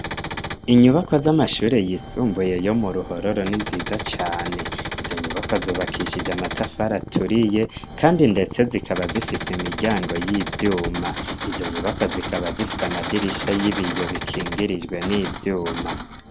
Inyubakwa z'amashure yisumbuye yo mu Ruhororo ni nziza cane, izo nyubakwa zubakishije amatafari aturiye kandi ndetse zikaba zifise imiryango y'ivyuma, izo nyubakwa zikaba zifise amadirisha y'ibiyo bikingirijwe n'ivyuma.